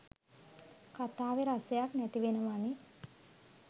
කතාවෙ රසයක් නැතිවෙනවනෙ.